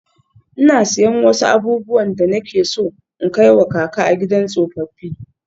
Ina siyan wasu abubuwan da nake so in kai wa kaka a gidan tsofaffi.